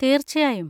തീർച്ചയായും.